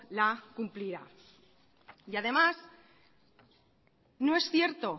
la cumplirá y además no es cierto